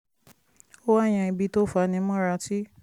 ó wá yan ibi tó fani mọ́ra tí